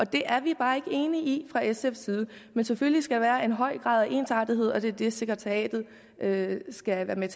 det er vi bare ikke enige i fra sfs side selvfølgelig skal der være en høj grad af ensartethed og det er det sekretariatet skal være med